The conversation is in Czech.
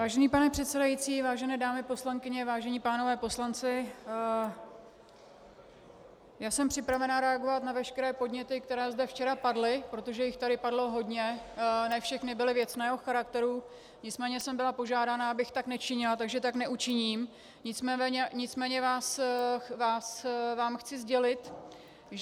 Vážený pane předsedající, vážené dámy poslankyně, vážení pánové poslanci, já jsem připravená reagovat na veškeré podněty, které zde včera padly, protože jich tady padlo hodně, ne všechny byly věcného charakteru, nicméně jsem byla požádána, abych tak nečinila, takže tak neučiním, nicméně vám chci sdělit, že -